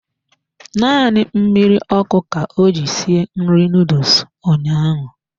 Naanị mmiri ọkụ ka o ji sie nri noodles ụnyaahụ.